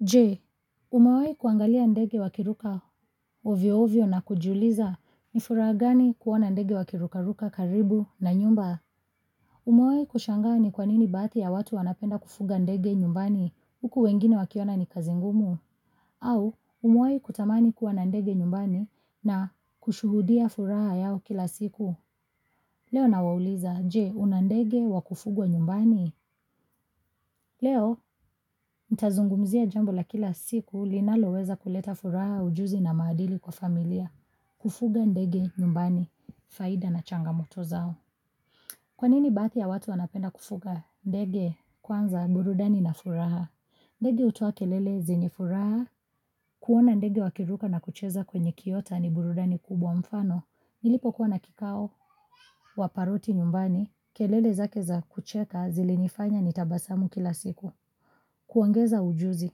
Je, umewahi kuangalia ndege wakiruka ovyo-ovyo na kujiuliza ni furaha gani kuona ndege wakiruka ruka karibu na nyumba? Umewahi kushangaa ni kwa nini baadhi ya watu wanapenda kufuga ndege nyumbani huku wengine wakiona ni kazi ngumu? Au, umewahi kutamani kuwa na ndege nyumbani na kushuhudia furaha yao kila siku? Leo nawauliza, je, una ndege wa kufugwa nyumbani? Leo, nitazungumzia jambo la kila siku linaloweza kuleta furaha, ujuzi na maadili kwa familia. Kufuga ndege nyumbani, faida na changamoto zao. Kwa nini baadhi ya watu wanapenda kufuga ndege kwanza burudani na furaha? Ndege hutoa kelele zenye furaha, kuona ndege wakiruka na kucheza kwenye kiota ni burudani kubwa, mfano, nilipokuwa na kikao wa paroti nyumbani, kelele zake za kucheka zilinifanya nitabasamu kila siku. Kuongeza ujuzi,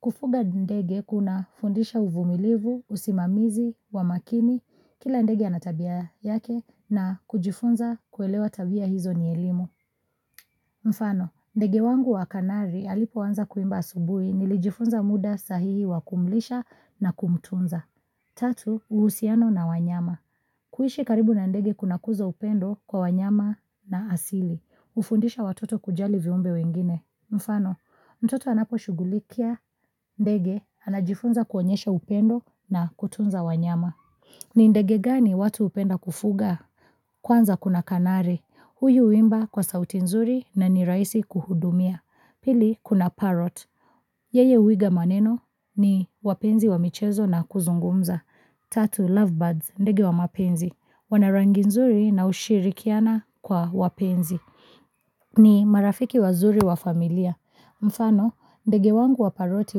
kufuga ndege kunafundisha uvumilivu, usimamizi, wa makini, kila ndege ana tabia yake na kujifunza kuelewa tabia hizo ni elimu. Mfano, ndege wangu wa kanari alipoanza kuimba asubuhi nilijifunza muda sahihi wa kumlisha na kumtunza. Tatu, uhusiano na wanyama. Kuishi karibu na ndege kuna kuza upendo kwa wanyama na asili. Hufundisha watoto kujali viumbe wengine. Mfano, mtoto anaposhughulikia ndege, anajifunza kuonyesha upendo na kutunza wanyama. Ni ndege gani watu hupenda kufuga? Kwanza kuna kanari. Huyu huimba kwa sauti nzuri na ni rahisi kuhudumia. Pili kuna parrot. Yeye huiga maneno ni wapenzi wa michezo na kuzungumza. Tatu lovebirds ndege wa mapenzi. Wana rangi nzuri na hushirikiana kwa wapenzi. Ni marafiki wazuri wa familia. Mfano ndege wangu wa paroti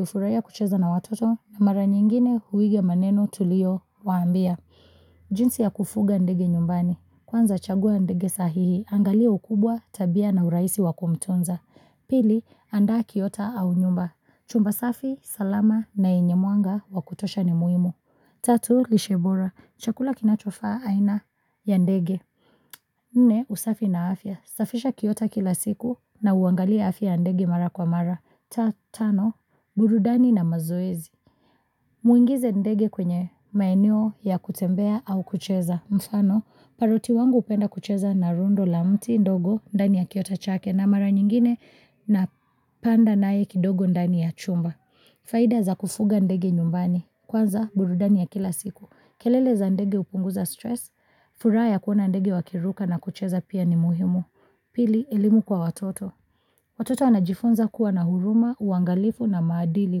hufurahia kucheza na watoto na mara nyingine huiga maneno tulio waambia. Jinsi ya kufuga ndege nyumbani. Kwanza chagua ndege sahihi Angalia ukubwa tabia na urahisi wa kumtonza. Pili, andaa kiota au nyumba. Chumba safi, salama na yenye mwanga wa kutosha ni muhimu. Tatu, lishe bora. Chakula kinachofaa aina ya ndege Nne, usafi na afya. Safisha kiota kila siku na uangalie afya ya ndege mara kwa mara. Tano, burudani na mazoezi Mwingize ndege kwenye maeneo ya kutembea au kucheza. Mfano, paroti wangu hupenda kucheza na rundo la mti ndogo ndani ya kiota chake na mara nyingine napanda naye kidogo ndani ya chumba. Faida za kufuga ndege nyumbani. Kwanza, burudani ya kila siku. Kelele za ndege hupunguza stress, furaha ya kuona ndege wakiruka na kucheza pia ni muhimu. Pili elimu kwa watoto. Watoto wanajifunza kuwa na huruma, uangalifu na maadili,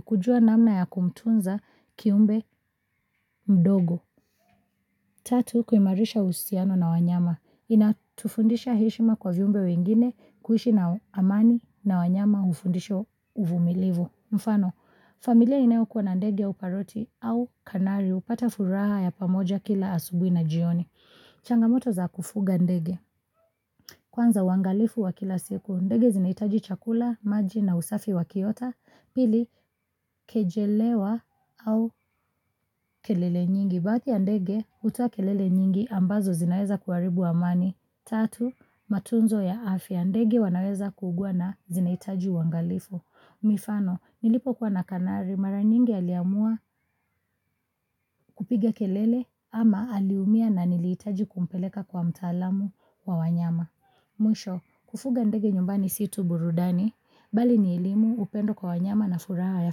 kujua namna ya kumtunza kiumbe mdogo. Tatu, kuimarisha uhusiano na wanyama. Inatufundisha heshima kwa viumbe wengine, kuishi na amani na wanyama hufundisha uvumilivu. Mfano, familia inayokuwa na ndege ya paroti au kanari hupata furaha ya pamoja kila asubuhi na jioni. Changamoto za kufuga ndege. Kwanza, uangalifu wa kila siku, ndege zinahitaji chakula, maji na usafi wa kiota. Pili, kejelewa au kelele nyingi, baadhi ya ndege hutoa kelele nyingi ambazo zinaweza kuharibu amani. Tatu, matunzo ya afya, ndege wanaweza kuugua na zinahitaji uangalifu. Mifano, nilipokuwa na kanari, mara nyingi aliamua kupiga kelele ama aliumia na nilihitaji kumpeleka kwa mtaalamu wa wanyama. Mwisho, kufuga ndege nyumbani si tu burudani, bali ni elimu, upendo kwa wanyama na furaha ya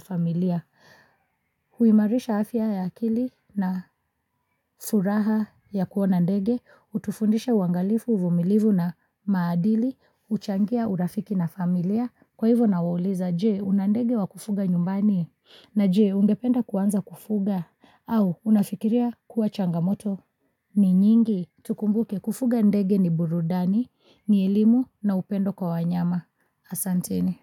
familia. Huimarisha afya ya akili na furaha ya kuona ndege, hutufundisha uangalifu, uvumilivu na maadili, huchangia urafiki na familia. Kwa hivo nawauliza, je una ndege wa kufuga nyumbani? Na je, ungependa kuanza kufuga au unafikiria kuwa changamoto ni nyingi? Tukumbuke kufuga ndege ni burudani, ni elimu na upendo kwa wanyama. Asanteni.